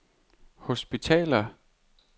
hospitaler